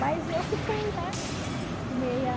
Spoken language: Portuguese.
Mas eu fiquei, né? Meia...